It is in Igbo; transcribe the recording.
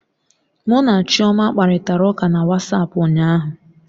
Mụ na Chioma kparịtara ụka na Wasapu ụnyaahụ